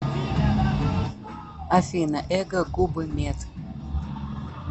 афина эго губы мед